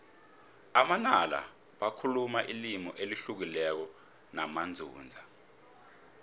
amanala bakhuluma ilimi elihlukileko namanzunza